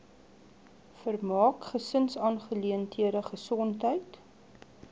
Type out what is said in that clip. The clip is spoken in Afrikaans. vermaak gesinsaangeleenthede gesondheid